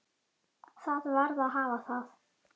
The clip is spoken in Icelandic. Það varð að hafa það.